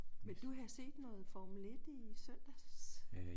Ville du have set noget Formel 1 i søndags?